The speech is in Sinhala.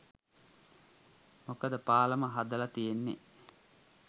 මොකද පාලම හදල තියෙන්නෙ